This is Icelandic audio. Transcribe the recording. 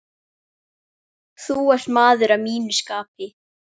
Þú ert maður að mínu skapi.